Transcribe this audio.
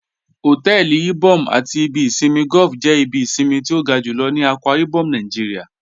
Hotẹẹli Ìbòm̀ àti ìbì ìṣinmí golf jẹ́ ìbí ìṣinmí tí o ga júlọ̀ ní Akwa Ibom Naijíríà